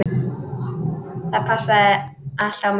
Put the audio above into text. Það passaði allt á mig.